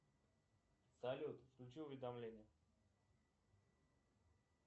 салют включи уведомления